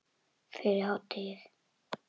Fyrir hádegi.